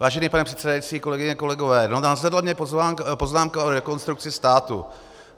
Vážený pane předsedající, kolegyně, kolegové, nadzvedla mě poznámka o Rekonstrukci státu.